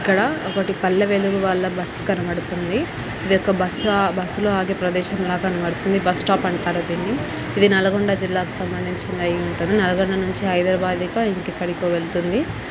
ఇక్కడ ఒకటి పల్లెవేలుగు వాళ్ళ బస్ కనపడుతుంది ఇధి ఒక బస్ లు ఆగే ప్రదేశం ల కనపడుతుంది బస్ టాప్ అంటారు ధీననీ ఇధి నల్గొండ జిల్లా కు సంబంధించినది అయ్యి ఉంటది నల్గొండ నుంచి హైదరాబాద్ కొ ఇంకిపల్లి కొవెల్లతున్నది.